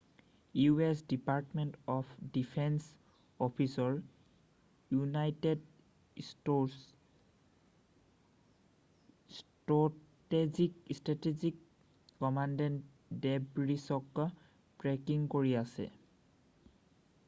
u.s. Department of defence অফিচৰ United States strategic কমাণ্ডে ডেবৰিছক ট্ৰেকিং কৰি আছে৷